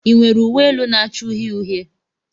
Ị nwere uwe elu na-acha uhie uhie?